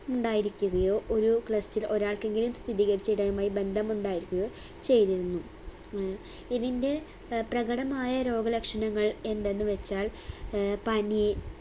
മുണ്ടായിരിക്കുകയോ ഒരു clust ൽ ഒരാൾക്കെങ്കിലും സ്ഥിതീകരിച്ചവരുമായ് ബന്ധം ഉണ്ടായിരിക്കുകയോ ചെയ്തിരുന്നു ഏർ ഇതിന്റെ ഏർ പ്രകടമായ രോഗലക്ഷണങ്ങൾ എന്തെന്ന് വെച്ചാൽ ഏർ പനി